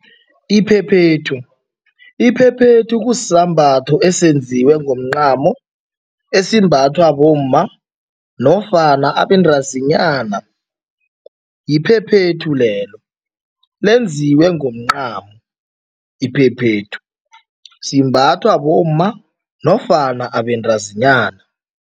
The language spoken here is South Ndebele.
Iphephethu, iphephethu kusisambatho esenziwe ngomncamo, esimbathwa bomma nofana abantazinyana, yiphephethu lelo. Lenziwe ngomncamo iphephethu, simbathwa bomma nofana ababentazinyana.